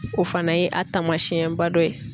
O fana ye a taamasiyɛnba dɔ ye.